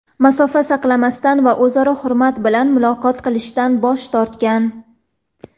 masofa saqlamasdan va o‘zaro hurmat bilan muloqot qilishdan bosh tortgan.